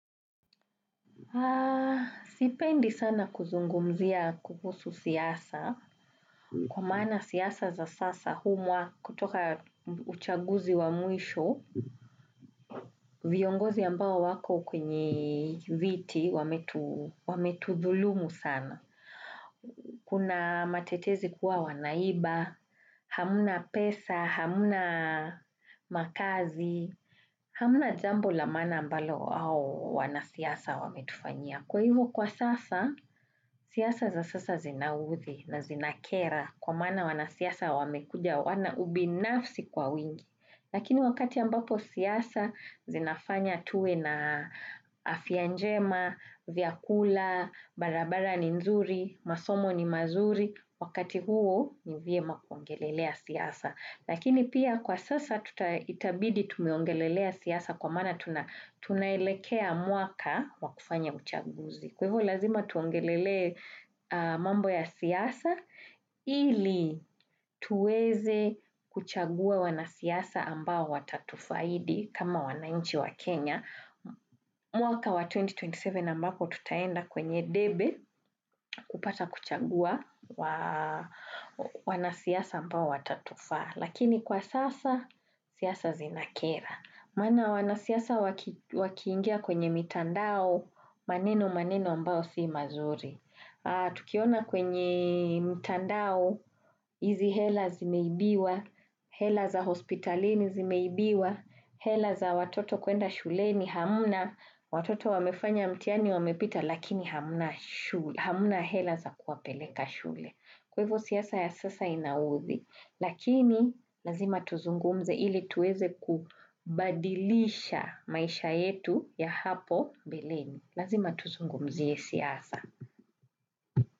Sipendi sana kuzungumzia kuhusu siasa. Kwa maana siasa za sasa huu mwaka, kutoka uchaguzi wa mwisho. Viongozi ambao wako kwenye viti, wametudhulumu sana. Kuna matetezi kuwa wanaiba. Hamna pesa, hamna makazi, hamna jambo la maana mbalo hao wanasiasa wametufanyia. Kwa hivyo kwa sasa, siasa za sasa zinaudhi na zinakera kwa maana wanasiasa wamekuja wana ubinafsi kwa wingi. Lakini wakati ambapo siasa zinafanya tuwe na afya njema, vyakula, barabara ni nzuri, masomo ni mazuri. Wakati huo ni vyema kuongelelea siasa. Lakini pia kwa sasa itabidi tumeongelelea siasa kwa maana tunaelekea mwaka wa kufanya uchaguzi. Kwa hivyo lazima tuongelelee mambo ya siasa ili tuweze kuchagua wanasiasa ambao watatufaidi kama wanainchi wa Kenya. Mwaka wa 2027 ambapo tutaenda kwenye debe, kupata kuchagua wanasiasa ambao watatufaa. Lakini kwa sasa, siasa zinakera. Maana wanasiasa wakiingia kwenye mitandao. Maneno maneno ambayo sio mazuri. Tukiona kwenye mtandao. Hizi hela zimeibiwa, hela za hospitalini zimeibiwa, hela za watoto kwenda shule ni hamna, watoto wamefanya mtihani wamepita, lakini hamna hela za kuwapeleka shule. Kwa hivyo siasa ya sasa inaudhi. Lakini, lazima tuzungumze ili tuweze kubadilisha maisha yetu ya hapo mbeleni. Lazima tuzungumzie siasa.